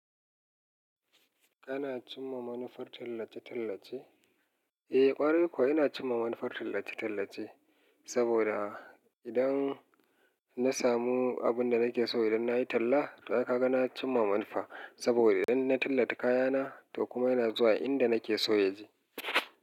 Kana cimma manufar tallace-tallace? Eh ƙware kuwa ina cimma manufar tallace-tallace, saboda idan na samu abin da nake so idan na yi talla, to ai ka ga na cimma manufa. Saboda idan na tallata kayana, to kuma yana zuwa inda nake so ya je.